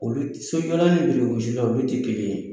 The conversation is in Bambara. Olu olu tɛ kelen ye